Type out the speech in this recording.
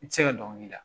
I tɛ se ka dɔnkili da